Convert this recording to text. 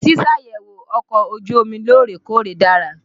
Ṣíṣàyẹ̀wò ọkọ̀ ojú omi lóòrè-kóòrè dára.